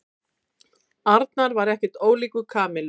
Arnar var ekkert ólíkur Kamillu.